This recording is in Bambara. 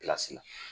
la